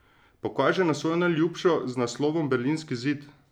Pokaže na svojo najljubšo z naslovom Berlinski zid.